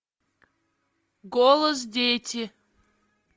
голос дети